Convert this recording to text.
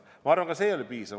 Ma arvan, ka see ei ole piisav.